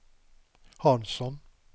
Hansson